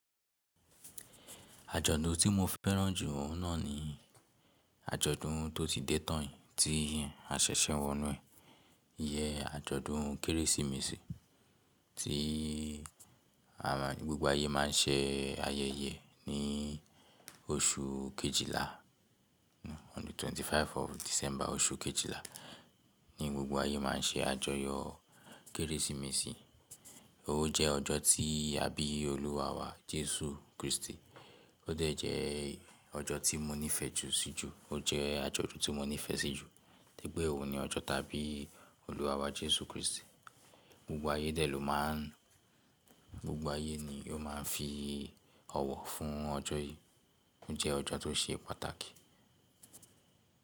Àjọ̀dún tí mo fẹ́ràn jù oun naa ni àjọ̀dún tó ti dé tán yìí tí a ṣẹ̀ṣẹ̀ ń wọ inú ẹ̀, ìyẹ́n àjọ̀dún Kérésìmesì tí gbogbo ayé má ń ṣe ayẹyẹ e ní oṣù kejìlá. On the 25 of December, oṣù kejìlá, ní gbogbo ayé má ń ṣe àjọyọ̀ Kérésìmesì. Ó jẹ́ ọjọ́ tí abí Olúwa wa, Jesu Kristi. Ó dẹ̀ jẹ́ ọjọ́ tí mo nífẹ̀ẹ́ jù sí jù. Ó jẹ́ àjọ̀dún tí mo nífẹ̀ẹ́ sí jù, tori pe òun ni ọjọ́ táabí Olúwa wa Jesu Kristi. Gbogbo ayé dè ló máa ń, gbogbo ayé ni yó maa ń fi ọwọ́ fún ọjọ́ yìí. Ó jẹ́ ọjọ́ tó ṣe pàtàkì.